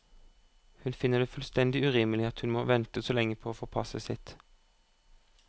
Hun finner det fullstendig urimelig at hun må vente så lenge på å få passet sitt.